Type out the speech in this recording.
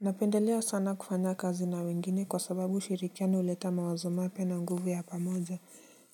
Napendelea sana kufanya kazi na wengine kwa sababu ushirikiano huleta mawazo mapya na nguvu ya pamoja.